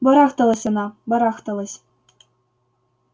барахталась она барахталась